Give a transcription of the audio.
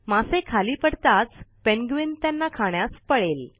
मासे खाली पडताच पेंग्विन त्यांना खाण्यास पळेल